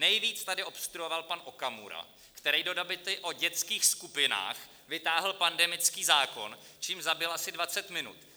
Nejvíc tady obstruoval pan Okamura, který do debaty o dětských skupinách vytáhl pandemický zákon, čímž zabil asi 20 minut.